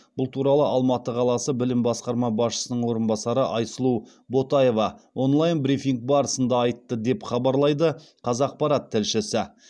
бұл туралы алматы қаласы білім басқарма басшысының орынбасары айсұлу ботаева онлайн брифинг барысында айтты деп хабарлайды қазақпарат тілшісі